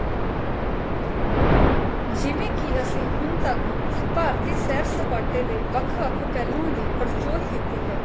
ਜਿਵੇਂ ਕੀ ਅਸੀਂ ਹੁਣ ਤੱਕ ਭਾਰਤੀ ਸੈਰ ਸਪਾਟੇ ਦੇ ਵੱਖ ਵੱਖ ਪਹਿਲੂਆਂ ਦੀ ਪੜਚੋਲ ਕੀਤੀ ਹੈ